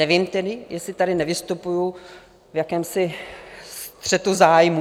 Nevím tedy, jestli tady nevystupuji v jakémsi střetu zájmů.